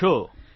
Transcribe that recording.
કેમ છો